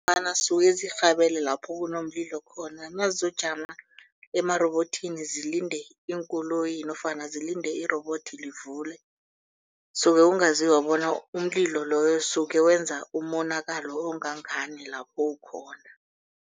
Ngombana zisuke zirhabele lapho kunomlilo khona nazojama emarobothini zilinde iinkoloyi nofana zilinde irobothi livuliwe. Suke kungazizwa bona umlilo loyo usuke wenza umonakalo ongangani lapho ukhona.